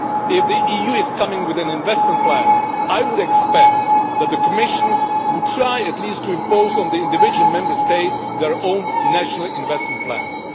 If the EU is coming with an investment plan, I would expect the Commission to try at least to impose on the individual Member States their own national investment plans.